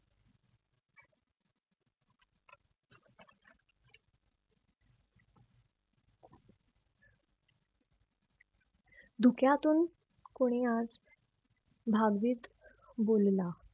धुक्यातून कुणी आज भागवीत बोलला.